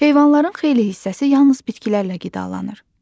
Heyvanların xeyli hissəsi yalnız bitkilərlə qidalanır.